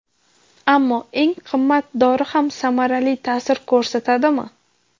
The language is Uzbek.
Ammo eng qimmat dori ham samarali ta’sir ko‘rsatadimi?